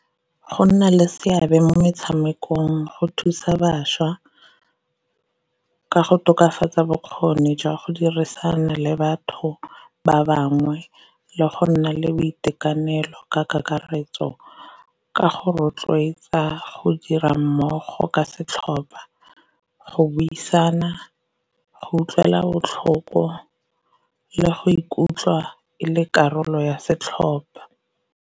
Go nna le seabe mo metshamekong go thusa bašwa ka go tokafatsa bokgoni jwa go dirisana le batho ba bangwe, le go nna le boitekanelo ka kakaretso ka go rotloetsa go dira mmogo ka setlhopa, go buisana, go utlwela botlhoko, le go ikutlwa e le karolo ya setlhopha.